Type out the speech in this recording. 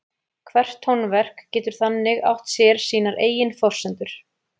Hvert tónverk getur þannig átt sér sínar eigin forsendur.